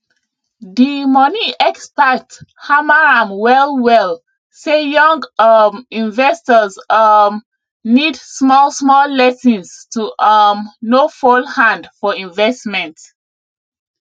di money expert hammer am wellwell say young um investors um need smallsmall lessons to um no fall hand for investment